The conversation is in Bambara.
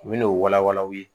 U bɛn'o walawala u ye